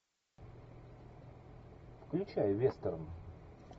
включай вестерн